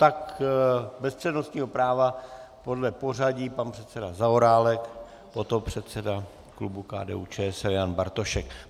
Tak bez přednostního práva podle pořadí pan předseda Zaorálek, potom předseda klubu KDU-ČSL Jan Bartošek.